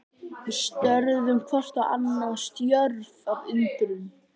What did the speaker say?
Við störðum hvort á annað, stjörf af undrun.